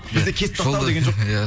бізде кесіп тастау деген жоқ иә